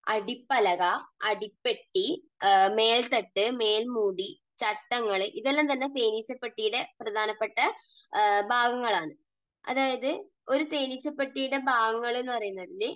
അടിപ്പലക, അടിപ്പെട്ടി, മേൽത്തട്ട്, മേൽമൂടി, ചട്ടങ്ങൾ ഇതെല്ലാം തന്നെ തേനീച്ച പെട്ടിയുടെ പ്രധാനപ്പെട്ട ഭാഗങ്ങൾ ആണ്. അതായത് ഒരു തേനീച്ച പെട്ടിയുടെ ഭാഗങ്ങൾ എന്നുപറയുന്നതിൽ